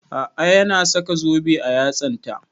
A'a ya na saka zobe a yatsan ta